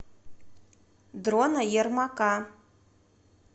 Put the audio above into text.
дрона ермака